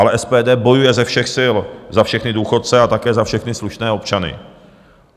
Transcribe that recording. Ale SPD bojuje ze všech sil za všechny důchodce a také za všechny slušné občany.